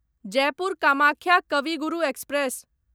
Jaipur Kamakhya Kavi Guru express